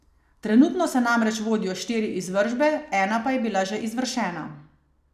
Trenutno se namreč vodijo štiri izvršbe, ena pa je bila že izvršena.